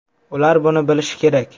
Ular buni bilishi kerak.